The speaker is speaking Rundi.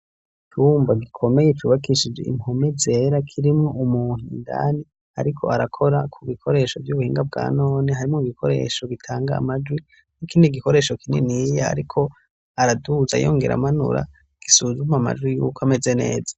Icumba gikomeye cubakishije impome zera kirimwo umuntu indani ariko arakora ku bikoresho vy'ubuhinga bwa none harimwo ibikoresho gitanga amajwi n'ikindi gikoresho kininiya ariko araduza yongera amanura gisuzuma amajwi yuko ameze neza.